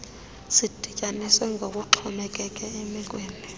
zidityaniswe ngokokuxhomekeke emekweni